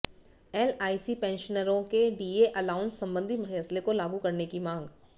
LIC पेंशनरों के DA allowance संबंधी फैसले को लागू करने की मांग